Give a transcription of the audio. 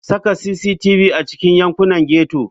Saka cctv a cikin yankunan ghetto.